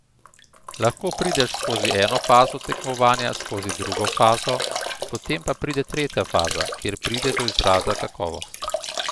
Lahko prideš skozi eno fazo tekmovanja, skozi drugo fazo, potem pa pride tretja faza, kjer pride do izraza kakovost.